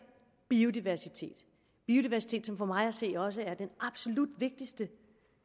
biodiversitet som for mig at se også er den absolut vigtigste